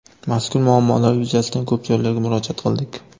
Mazkur muammolar yuzasidan ko‘p joylarga murojaat qildik.